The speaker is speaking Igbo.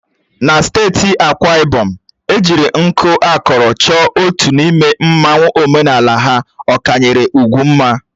Na steeti Akwa Ibom, ejiri nku akọrọ chọọ otu n'ime mmanwu omenala ha na-akwanyere ugwu mma.